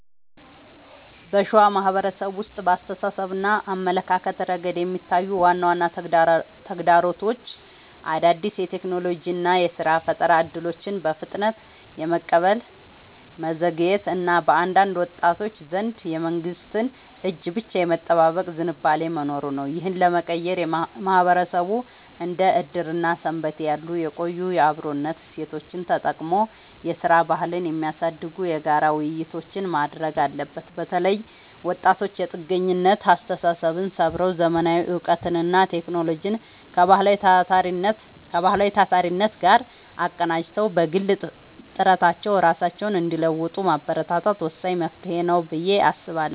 በሸዋ ማህበረሰብ ውስጥ በአስተሳሰብና አመለካከት ረገድ የሚታዩት ዋና ዋና ተግዳሮቶች አዳዲስ የቴክኖሎጂና የሥራ ፈጠራ እድሎችን በፍጥነት የመቀበል መዘግየት እና በአንዳንድ ወጣቶች ዘንድ የመንግስትን እጅ ብቻ የመጠበቅ ዝንባሌ መኖሩ ነው። ይህንን ለመቀየር ማህበረሰቡ እንደ ዕድርና ሰንበቴ ያሉ የቆዩ የአብሮነት እሴቶቹን ተጠቅሞ የሥራ ባህልን የሚያሳድጉ የጋራ ውይይቶችን ማድረግ አለበት። በተለይ ወጣቶች የጥገኝነት አስተሳሰብን ሰብረው: ዘመናዊ እውቀትንና ቴክኖሎጂን ከባህላዊው ታታሪነት ጋር አቀናጅተው በግል ጥረታቸው ራሳቸውን እንዲለውጡ ማበረታታት ወሳኝ መፍትሄ ነው ብዬ አስባለሁ።